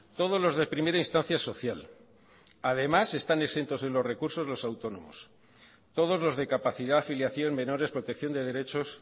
todos los de primera instancia social además están exentos en los recursos los autónomos todos los de capacidad afiliación menores protección de derechos